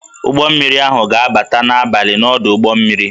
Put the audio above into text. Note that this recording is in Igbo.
Ụgbọ mmiri ahụ ga-abata n'abalị n'ọdụ ụgbọ mmiri